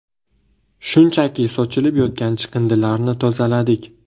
Shunchaki sochilib yotgan chiqindilarni tozaladik.